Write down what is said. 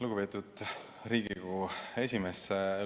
Lugupeetud Riigikogu esimees!